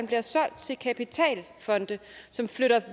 bliver solgt til kapitalfonde som flytter